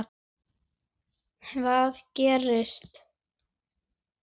Hvað gerist?